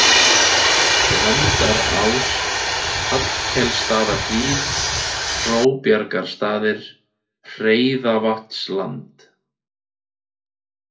Gvendarás, Hallkelsstaðahlíð, Hróbjargarstaðir, Hreðavatnsland